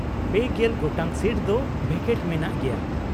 ᱯᱮᱜᱮᱞ ᱜᱚᱴᱟᱝ ᱥᱤᱴ ᱫᱚ ᱵᱷᱮᱠᱮᱴ ᱢᱮᱱᱟᱜ ᱜᱮᱭᱟ ᱾